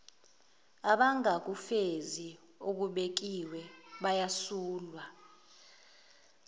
abangakufezi okubekiwe bayasulwa